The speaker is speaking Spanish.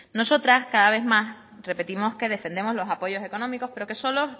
nosotras cada vez más repetimos que defendemos los apoyos económicos pero que solo